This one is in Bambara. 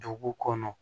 Dugu kɔnɔ